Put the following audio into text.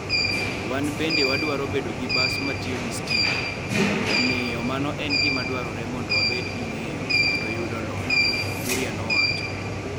Wan bende wadwaro bedo gi bas matiyo gi stima, omiyo, mano en gima dwarore mondo wabed gi ng'eyo kendo yudo lony, " Kuria nowacho.